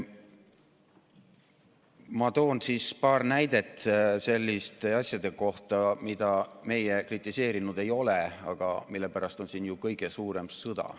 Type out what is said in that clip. Ma toon paar näidet selliste asjade kohta, mida meie kritiseerinud ei ole, aga mille pärast on siin kõige suurem sõda.